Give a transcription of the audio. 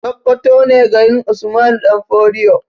Sakkwato ne garin usmanu ɗan fodio